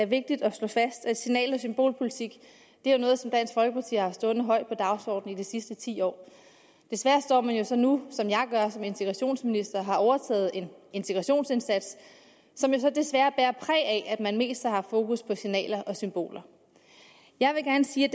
vigtigt at slå fast at signal og symbolpolitik er noget som dansk folkeparti har haft stående højt på dagsordenen i de sidste ti år desværre står man jo så nu som jeg gør som integrationsminister og har overtaget en integrationsindsats som så desværre bærer præg af at man mest har haft fokus på signaler og symboler jeg vil gerne sige at